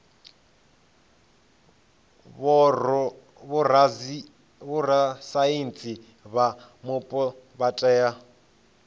vhorasaintsi vha mupo vha tea